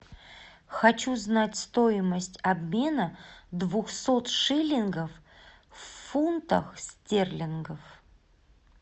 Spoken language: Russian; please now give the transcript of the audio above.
хочу знать стоимость обмена двухсот шиллингов в фунтах стерлингов